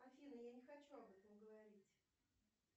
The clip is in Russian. афина я не хочу об этом говорить